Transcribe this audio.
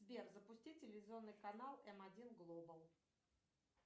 сбер запусти телевизионный канал м один глобал